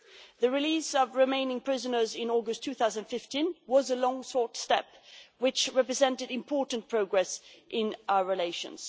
The release of remaining prisoners in August 2015 was a long sought step which represented important progress in our relations.